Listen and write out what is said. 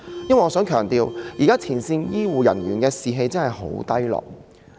我亦想強調，現時前線醫護人員的士氣真的很低落。